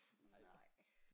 Nej